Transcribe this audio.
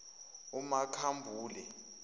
umakhambule